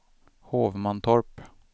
Hovmantorp